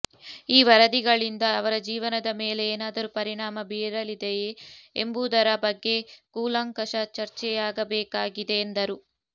ಈ ವರದಿಗಳಿಂದ ಅವರ ಜೀವನದ ಮೇಲೆ ಏನಾದರೂ ಪರಿಣಾಮ ಬೀರಲಿದೆಯೇ ಎಂಬುವುದರ ಬಗ್ಗೆ ಕೂಲಂಕಷ ಚರ್ಚೆಯಾಗಬೇಕಾಗಿದೆ ಎಂದರು